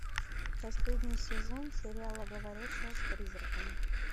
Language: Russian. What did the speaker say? последний сезон сериала говорящая с призраками